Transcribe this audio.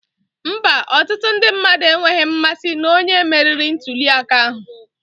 Mba, ọtụtụ ndị mmadụ enweghị mmasị na onye meriri ntuli aka ahụ